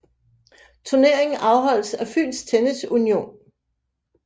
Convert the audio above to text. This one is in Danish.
Turneringen afholdes af Fyns Tennis Union